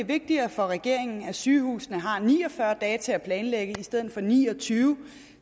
vigtigere for regeringen at sygehusene har ni og fyrre dage til at planlægge i stedet for ni og tyve